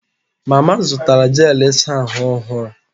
Mama zụtara jel ịsa ahụ ọhụrụ